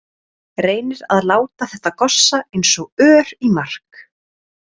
Reynir að láta þetta gossa eins og ör í mark.